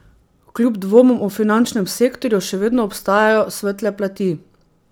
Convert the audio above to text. Kljub dvomom o finančnem sektorju še vedno obstajajo svetle plati.